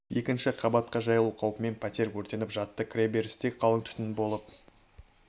екінші қабатқа жайылу қаупімен пәтер өртеніп жатты кіреберісте қалың түтін болып